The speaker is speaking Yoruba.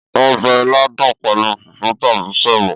Ọbẹ̀ ilá dùn pẹ̀lú fùfú tàbí sẹ̀mó.